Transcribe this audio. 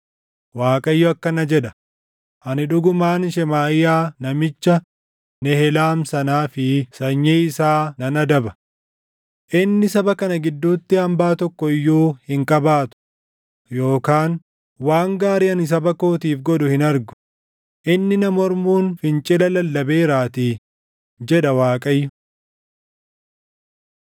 Waaqayyo akkana jedha: ani dhugumaan Shemaaʼiyaa namicha Nehelaam sanaa fi sanyii isaa nan adaba. Inni saba kana gidduutti hambaa tokko iyyuu hin qabaatu yookaan waan gaarii ani saba kootiif godhu hin argu; inni na mormuun fincila lallabeeraatii’ jedha Waaqayyo.”